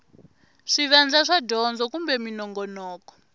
swivandla swa dyondzo kumbe minongonoko